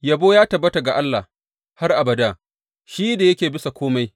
Yabo ya tabbata ga Allah har abada, shi da yake bisa kome!